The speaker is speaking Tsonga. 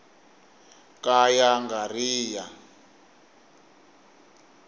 ka ya nga ri ya